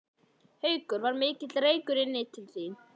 Haukur: Var mikill reykur inn til þín?